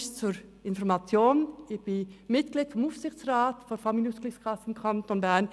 Zur Information: Ich bin Mitglied des Aufsichtsrats der Familienausgleichskasse im Kanton Bern.